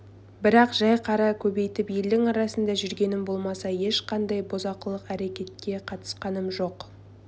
бірақ жәй қара көбейтіп елдің арасында жүргенім болмаса ешқандай бұзақылық әрекетке қатысқаным жоқ